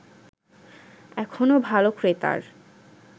এখনো ভালো ক্রেতার